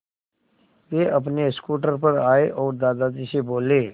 वे अपने स्कूटर पर आए और दादाजी से बोले